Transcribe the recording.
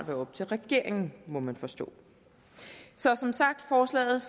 være op til regeringen at gøre må man forstå så som sagt forslaget